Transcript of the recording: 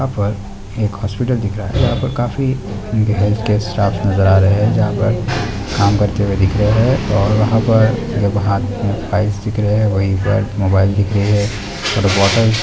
यहाँ पर एक हॉस्पिटल दिख रहा है यहाँ पे खाफी गेह के स्टाफ नजर आ रहे हैं जहाँ पर कम करते हुए दिख रहे हैं और वहाँ पर हाथ में फाइल्स दिख रहे है वहीं पर मोबइल दिख रहे हैं और बोतल